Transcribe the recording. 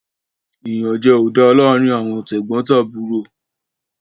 Iyanjẹ o dá láarin Àwọn tegbotaburo